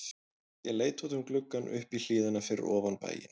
Ég leit út um gluggann upp í hlíðina fyrir ofan bæinn.